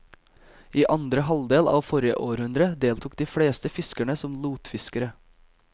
I andre halvdel av forrige århundre deltok de fleste fiskerne som lottfiskere.